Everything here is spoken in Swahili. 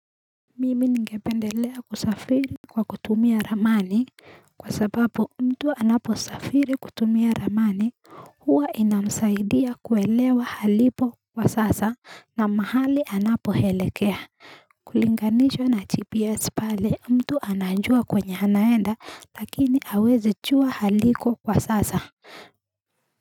Mimi ngependelea kusafiri kwa kutumia ramani kwa sababu mtu anaposafiri kutumia ramani huwa inamsaidia kuelewa alipo kwa sasa na mahali anapoelekea kulinganishwa na GPS pale mtu anajua kwenye anaenda lakini hawezi jua aliko kwa sasa.